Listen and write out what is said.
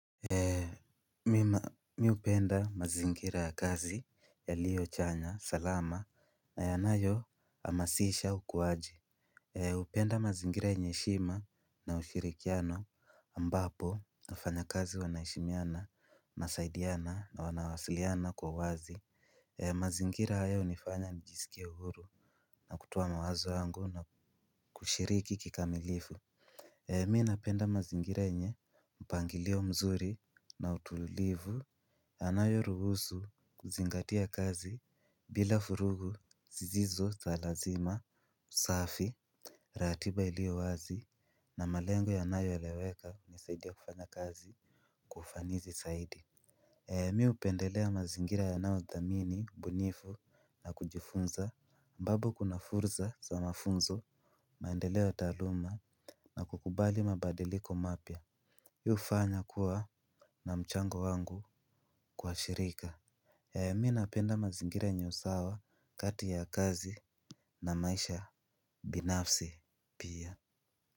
Mi upenda mazingira ya kazi yaliyo chanya salama na yanayo hamasisha ukuwaji. Upenda mazingira yenye heshima na ushirikiano ambapo wafanya kazi wanaheshimiana na wasaidiana na wanawasiliana kwa wazi. Mazingira haya unifanya nijisikie uhuru na kutoa mawazo yangu na kushiriki kikamilifu. Mi napenda mazingira yenye mpangilio mzuri na utulivu. Anayo ruhusu kuzingatia kazi bila furugu zisizo za lazima safi ratiba ilio wazi na malengo yanayo eleweka unisaidia kufanya kazi kwa ufanizi saidi. Mi upendelea mazingira yanao dhamini ubunifu na kujifunza ambapo kuna furza za mafunzo maendeleo taaluma na kukubali mabadiliko mapya. Hii hufanya kuwa na mchango wangu kwa shirika. Ya mi napenda mazingira yenye usawa kati ya kazi na maisha binafsi pia.